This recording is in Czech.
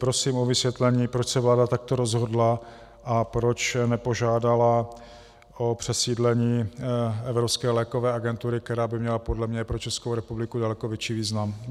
Prosím o vysvětlení, proč se vláda takto rozhodla a proč nepožádala o přesídlení Evropské lékové agentury, která by měla podle mě pro Českou republiku daleko větší význam.